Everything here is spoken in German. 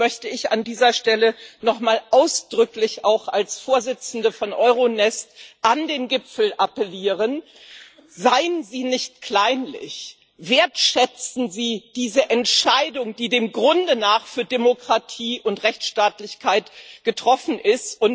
Und deswegen möchte ich an dieser Stelle nochmal ausdrücklich auch als Vorsitzende von EuroNest an den Gipfel appellieren Seien Sie nicht kleinlich! Wertschätzen Sie diese Entscheidung, die dem Grunde nach für Demokratie und Rechtsstaatlichkeit getroffen ist!